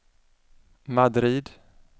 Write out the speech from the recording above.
Madrid